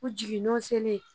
U jigin nɔ selen